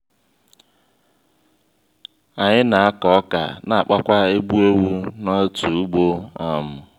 anyị na akọ ọkà na-akpakwa egbu/ewu n'otu ugbo um